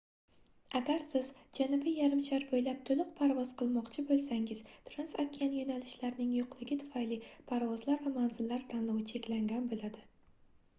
agar siz janubiy yarimshar boʻylab toʻliq parvoz qilmoqchi boʻlsangiz transokean yoʻnalishlarning yoʻqligi tufayli parvozlar va manzillar tanlovi cheklangan boʻladi